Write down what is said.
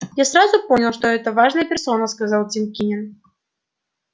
я сразу понял что это важная персона сказал тим кинен